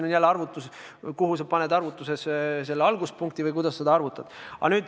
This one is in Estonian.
See oleneb jälle sellest, kuhu sa paned arvutuses alguspunkti või kuidas seda arvutad.